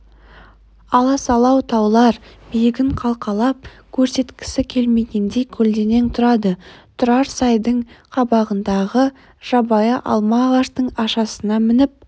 аласалау таулар биігін қалқалап көрсеткісі келмегендей көлденең тұрады тұрар сайдың қабағындағы жабайы алма ағаштың ашасына мініп